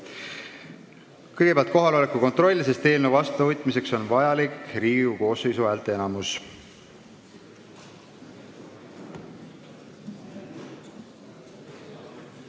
Kõigepealt teeme kohaloleku kontrolli, sest eelnõu vastuvõtmiseks on vajalik Riigikogu koosseisu häälteenamus.